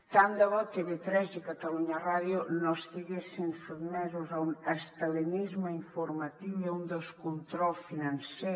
tant de bo tv3 i catalunya ràdio no estiguessin sotmeses a un estalinisme informatiu i a un descontrol financer